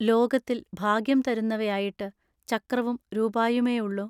ലോകത്തിൽ ഭാഗ്യം തരുന്നവയായിട്ടു ചക്രവും രൂപായുമെയുള്ളൊ.